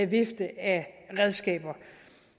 vifte af redskaber